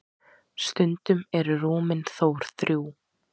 stundum eru rúmin þó þrjú